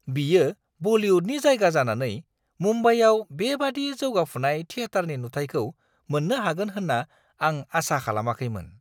बियो बलिउडनि जायगा जानानै मुम्बाइआव बेबादि जौगाफुनाय थियाटारनि नुथायखौ मोन्नो हागोन होन्ना आं आसा खालामाखैमोन।